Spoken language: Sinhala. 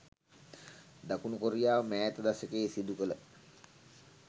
දකුණු කොරියාව මෑත දශකයේ සිදු කළ